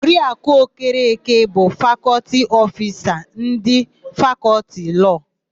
Di Oriaku Okeke bụ Fakọltị Ofisa ndị Fakọltị Lọọ.